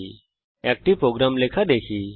এখন এরকম একটি প্রোগ্রাম লেখা দেখি